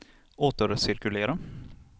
återcirkulera